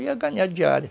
Eu ia ganhar diária.